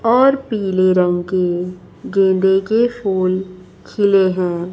और पीले रंग के गेंदे के फूल खिले है।